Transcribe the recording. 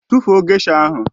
Tụfuo gesha ahụ!